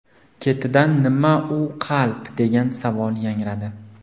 Ketidan: ‘Nima u qalb?’, degan savol yangradi.